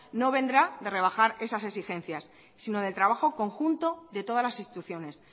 no vendrá de rebajar esas exigencias sino del trabajo conjunto de todas las instituciones